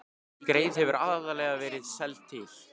Skreið hefur aðallega verið seld til